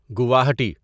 Guwahati